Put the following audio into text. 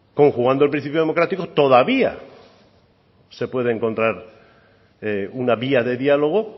conjugando el principio democrático todavía se pueden encontrar una vía de diálogo